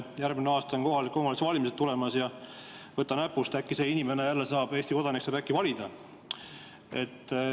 Järgmine aasta on kohaliku omavalitsuse valimised tulemas, ja võta näpust, äkki see inimene, Eesti kodanik saab jälle valida.